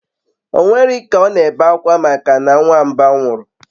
Onwerike o n'ebe akwa maka na nwamba nwuru